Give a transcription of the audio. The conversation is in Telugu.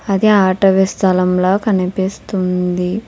అది ఆటవి స్థలం లా కనిపిస్తుంది.